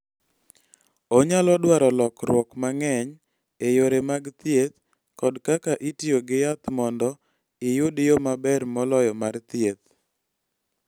Onyalo dwaro lokruok mang�eny e yore mag thieth kod kaka itiyo gi yath mondo iyud yo maber moloyo mar thieth.